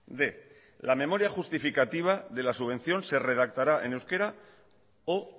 apartado quinientos la memoria justificativa de la subvención se redactará en euskera o